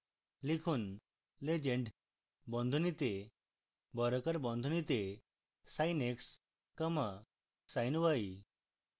লিখুন legend বন্ধনীতে বর্গাকার বন্ধনীতে sin x comma sin y